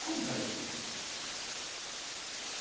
Como faleceu?